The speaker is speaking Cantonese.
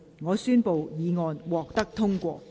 我宣布議案獲得通過。